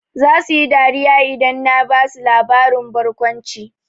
Zasu yi dariya idan na basu labarin barkwanci.